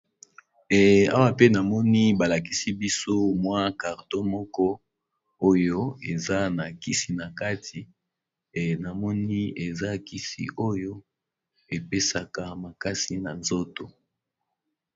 Awa pe namoni balakisi biso mwa carton moko oyo eza nakisi nakati namoni eza kisi oyo epesaka makasi nanzoto